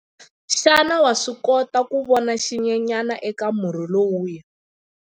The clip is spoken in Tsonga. Xana wa swi kota ku vona xinyenyana eka murhi lowuya?